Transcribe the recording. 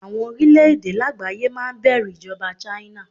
Àwọn orílẹ̀-èdè lágbàáyé máa bẹ̀rù ìjọba China.